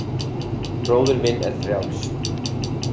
Bróðir minn er frjáls.